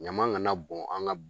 Ɲama gana bon an ka